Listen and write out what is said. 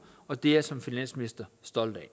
og det er jeg som finansminister stolt af at